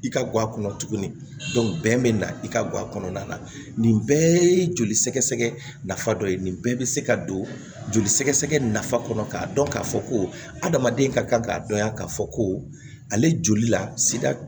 I ka guwa kɔnɔ tuguni bɛn bɛ na i ka guwa kɔnɔna na nin bɛɛ ye joli sɛgɛsɛgɛ nafa dɔ ye nin bɛɛ be se ka don joli sɛgɛsɛgɛ nafa kɔnɔ k'a dɔn k'a fɔ ko adamaden ka kan ka dɔn yan k'a fɔ ko ale joli la sida